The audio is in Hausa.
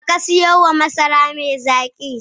Wa ka siyo ma masara mai zaki?